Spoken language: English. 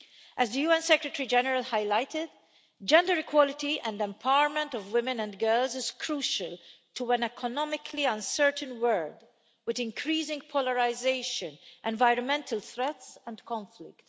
As the UN Secretary General highlighted, gender equality and empowerment of women and girls is crucial to an economically uncertain world with increasing polarisation, environmental threats and conflict.